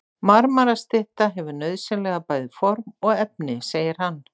Marmarastytta hefur nauðsynlega bæði form og efni, segir hann.